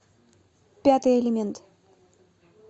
пятый элемент